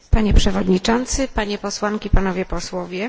Panie Przewodniczący, Panie Posłanki, Panowie Posłowie!